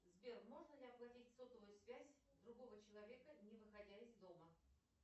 сбер можно ли оплатить сотовую связь другого человека не выходя из дома